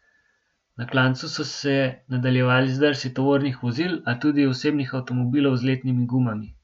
Na klancu so se nadaljevali zdrsi tovornih vozil, a tudi osebnih avtomobilov z letnimi gumami.